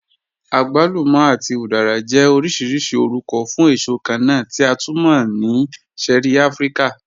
Àgwàlùmà àti udara jẹ́ ọ̀rọ̀ṣìrìṣì ọ̀rùkọ̀ fún èṣò kànna tí a tú mọ̀ ni ṣẹ̀ẹ̀rí Àfíríkà